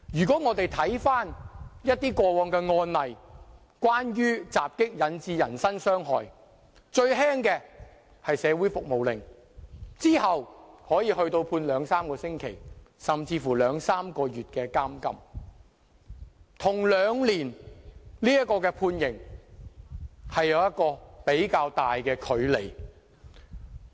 過往的一些關於襲擊引致人身傷害的案例，最輕的刑罰是社會服務令，之後是判處兩三個星期，甚至兩三個月的監禁，跟刑期兩年有比較大的距離。